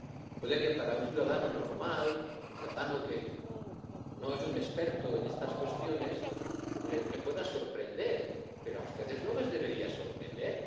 Puede que a un ciudadano normal, un ciudadano que no es un experto en estas cuestiones, le pueda sorprender, pero a ustedes no les debería sorprender.